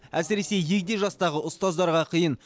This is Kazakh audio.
әсіресе егде жастағы ұстаздарға қиын